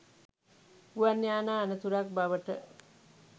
ගුවන් යානා අනතුරක් බවට